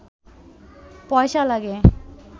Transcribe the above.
পয়সা লাগে